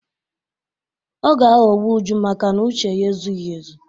Ọ ga-aghọgbu Uju makana uche ya ezughi ezu.